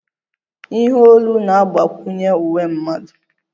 Ihe olu na-agbakwunye uwe mmadụ